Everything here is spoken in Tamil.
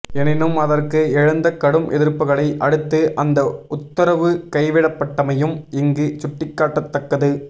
எனினும் அதற்கு எழுந்த கடும் எதிர்ப்புக்களை அடுத்து அந்த உத்தரவு கைவிடப்பட்டமையும் இங்கு சுட்டிக்காட்டத்தக்கது